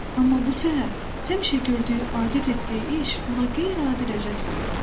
Amma bu səhər həmişə gördüyü, adət etdiyi iş ona qeyri-adi ləzzət verirdi.